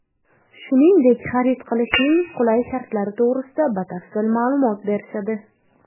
Shuningdek xarid qilishning qulay shartlari to‘g‘risida batafsil ma’lumot berishadi.